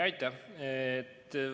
Aitäh!